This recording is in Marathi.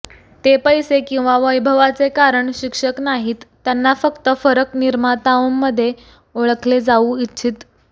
ते पैसे किंवा वैभवाचे कारण शिक्षक नाहीत त्यांना फक्त फरक निर्माताओं म्हणून ओळखले जाऊ इच्छित